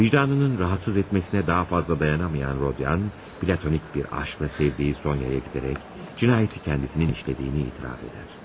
Vicdanının rahatsız etməsinə daha fazla dayanamayan Rodian, platonik bir aşqla sevdiyi Sonyaya gedərək cinayəti kendisinin işlədiyini etiraf edər.